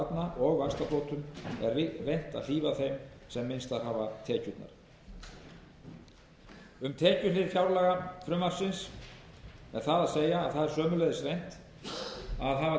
barna og vaxtabótum er reynt að hlífa þeim sem minnstar hafa tekjurnar um tekjuhlið fjárlagafrumvarpsins er það að segja að það er sömuleiðis